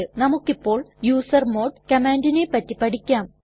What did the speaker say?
നമുക്കിപ്പോൾ യൂസർമോഡ് കമാൻഡിനെ പറ്റി പഠിക്കാം